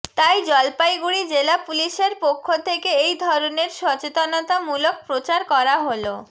তাই জলপাইগুড়ি জেলা পুলিশের পক্ষ থেকে এই ধরনের সচেতনতা মূলক প্রচার করা হল